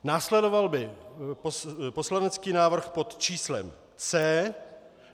Následoval by poslanecký návrh pod číslem C.